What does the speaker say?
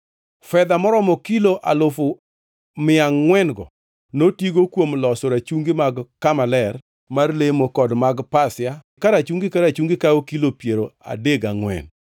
Fedha maromo kilo alufu adek mia angʼwen-go (3,400) notigo kuom loso rachungi mag kama ler mar lemo kod mag pasia, ka rachungi ka rachungi kawo kilo piero adek gangʼwen (34,000).